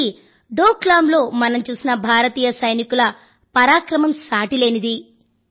రెండోది డోక్ లామ్ లో మనం చూసిన భారతీయ సైనికుల పరాక్రమం సాటిలేనిది